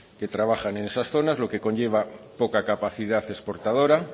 que trabajan en esas zonas lo que conlleva poca capacidad exportadora